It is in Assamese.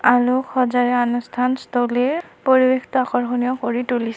সজাই আনুষ্ঠানস্থলীৰ পৰিৱেশটো আকৰ্ষণীয় কৰি তুলিছ--